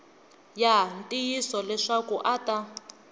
ya ntiyiso leswaku a ta